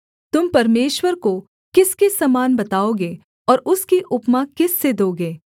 तुम परमेश्वर को किसके समान बताओगे और उसकी उपमा किस से दोगे